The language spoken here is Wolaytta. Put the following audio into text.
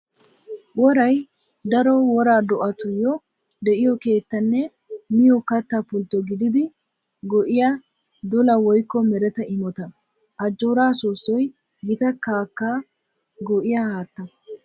Woray daro woraa do'attuyo de'iyo keettanne miyo katta pultto gididdi go'iyaa dolla woykko meretta imotta. Ajjoora soossoy gita kakka goggiya haatta.